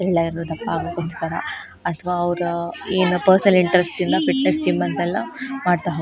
ತೆಳ್ಳ ಇರೋರು ದಪ್ಪ ಆಗಕೋಸ್ಕರ ಅಥವಾ ಅವ್ರ ಏನ ಪರ್ಸನಲ್ ಇಂಟ್ರೆಸ್ಟ್ ಇಂದ ಫಿಟ್ ನೆಸ್ ಜಿಮ್ ಎಂತಲ್ಲಾ ಮಾಡತ್ತಾ ಹೋ --